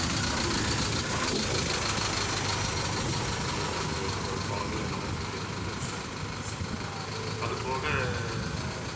கல்லூரி மாணவர்களும் சரி நிறைய பேர் இங்க வந்து போனது நம்மளுக்கு சரி அது போக